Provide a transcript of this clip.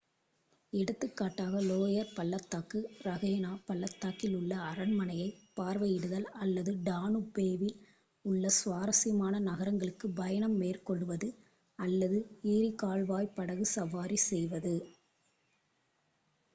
எடுத்துக்காட்டாக லோயர் பள்ளத்தாக்கு ரஹினே பள்ளத்தாக்கில் உள்ள அரண்மனையை பார்வையிடுதல் அல்லது டானுபேவில் உள்ள சுவாரசியமான நகரங்களுக்கு பயணம் மேற்கொள்வது அல்லது ஈரி கால்வாய் படகு சவாரி செய்வது